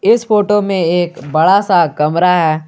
इस फोटो में एक बड़ा सा कमरा है।